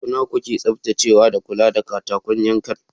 Sau nawa kuke tsaftacewa da kula da katakon yankan?